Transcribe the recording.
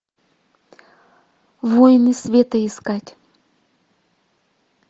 воины света искать